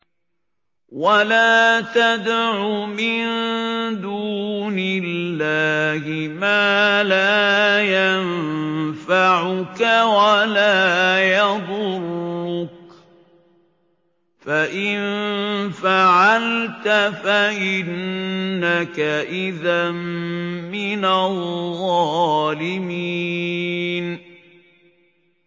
وَلَا تَدْعُ مِن دُونِ اللَّهِ مَا لَا يَنفَعُكَ وَلَا يَضُرُّكَ ۖ فَإِن فَعَلْتَ فَإِنَّكَ إِذًا مِّنَ الظَّالِمِينَ